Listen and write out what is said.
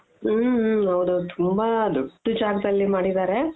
ಹ್ಮ ಹ್ಮ ಹೌದ್ ಹೌದು ತುಂಬಾ ದೊಡ್ಡ ಜಾಗದಲ್ಲಿ ಮಾಡಿದಾರೆ .